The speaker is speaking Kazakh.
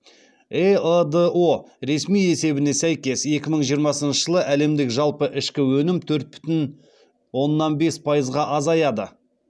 эыдо ресми есебіне сәйкес екі мың жиырмасыншы жылы әлемдік жалпы ішкі өнім төрт бүтін оннан бес пайызға азаяды